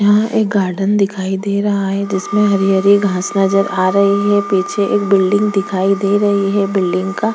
यहाँ एक गार्डन दिखाई दे रहा है जिसमें हरि-हरि घास नजर आ रही है पीछे एक बिल्डिंग दिखाई दे रही है बिल्डिंग का--